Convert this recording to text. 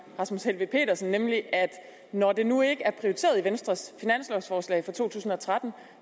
rasmus helveg petersen nemlig at når det nu ikke er prioriteret i venstres finanslovforslag for to tusind og tretten